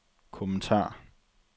kommentar